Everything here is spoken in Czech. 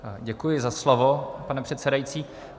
Děkuji za slovo, pane předsedající.